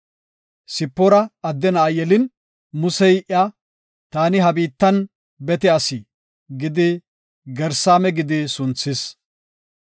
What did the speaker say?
Sipoora adde na7a yelin, Musey iya, “Taani ha biittan bete asi” gidi Gersaama gidi sunthis.